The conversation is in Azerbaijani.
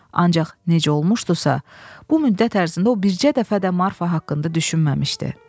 Ancaq necə olmuşdusa, bu müddət ərzində o bircə dəfə də Marfa haqqında düşünməmişdi.